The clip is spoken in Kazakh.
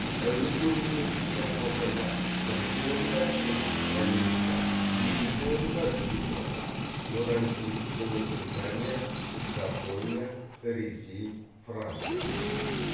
әуе көлігімен жүк тасымалдауда бірінші орында солтүстік америка екінші орында еуропа одан кейін ұлыбритания жапония ресей франция келеді